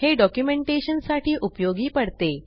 हे डॉक्युमेंटेशन साठी उपयोगी पडते